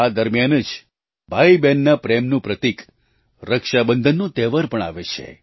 આ દરમિયાન જ ભાઈબહેનના પ્રેમનું પ્રતીક રક્ષાબંધનનો તહેવાર પણ આવે છે